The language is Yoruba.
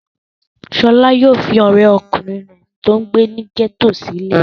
Ṣọlá yóò fi ọ̀rẹ́ kùnrin rẹ̀ tó ń gbé ní gẹ́tò sílẹ̀.